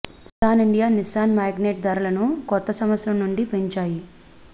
Nissan India Nissan Magnite ధరలను కొత్త సంవత్సరం నుండి పెంచాయి